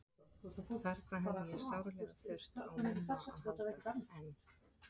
Þarna hefði ég sárlega þurft á Mumma að halda, en